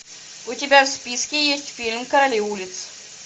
у тебя в списке есть фильм короли улиц